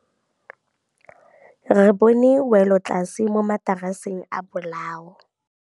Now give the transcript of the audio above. Re bone wêlôtlasê mo mataraseng a bolaô.